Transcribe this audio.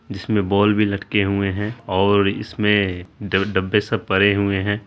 जिसमे बॉल भी लटके हुए है ओर इसमे दो डब्बे सब पड़े हुए है।